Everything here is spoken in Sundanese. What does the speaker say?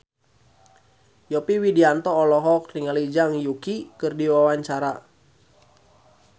Yovie Widianto olohok ningali Zhang Yuqi keur diwawancara